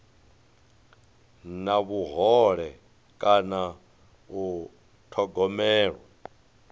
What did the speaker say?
na vhuhole kana u thogomelwa